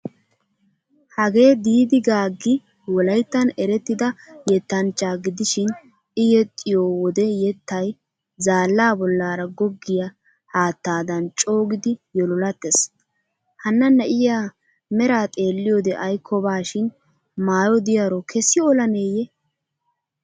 Hagee diiddi gagi wolayttan erettida yettanchcha gidishin i yexxiyo wode yettay zaallaa bollaara goggiya haattaadan coogidi yololattees. Hanna na'iya mera xeelliyode aykkobashin maayo diyaro keessi olaneeyye.